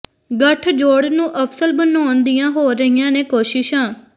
ਗਠਜੋੜ ਨੂੰ ਅਸਫਲ ਬਣਾਉਣ ਦੀਆਂ ਹੋ ਰਹੀਆਂ ਨੇ ਕੋਸ਼ਿਸ਼ਾਂ